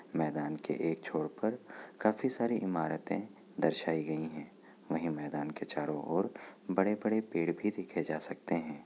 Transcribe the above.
मैदान के एक छोर पर काफी सारी इमारतें दर्शायी गई हैं । वहीं मैदान के चारो ओर बड़े-बड़े पेड़ भी देखे जा सकते हैं।